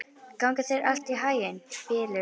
Gangi þér allt í haginn, Bylur.